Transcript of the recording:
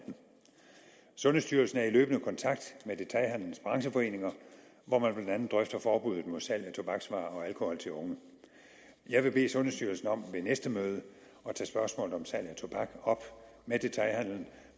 sundhedsstyrelsen er i løbende kontakt med detailhandelens brancheforeninger hvor man blandt andet drøfter forbuddet mod salg af tobaksvarer og alkohol til unge jeg vil bede sundhedsstyrelsen om ved næste møde at tage spørgsmålet om salg af tobak op med detailhandelen